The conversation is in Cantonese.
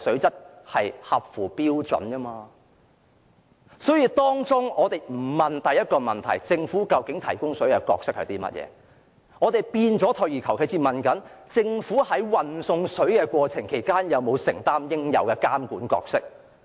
大家不關心第一個問題，不關心政府在提供食水方面的角色為何，反而退而求其次只關注政府在運送食水的過程中有否履行應有的監管角色。